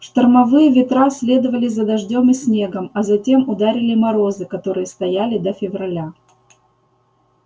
штормовые ветра следовали за дождём и снегом а затем ударили морозы которые стояли до февраля